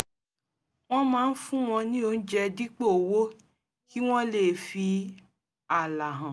wọ́n máa ń fún wọn ní oúnjẹ dípò owó kí wọ́n lè fi ààlà hàn